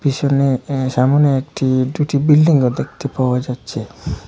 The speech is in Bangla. আসলে অ্যা সামনে একটি ডুটি বিল্ডিং -ও দেখতে পাওয়া যাচ্ছে।